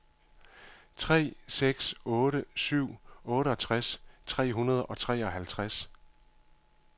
tre seks otte syv otteogtres tre hundrede og treoghalvtreds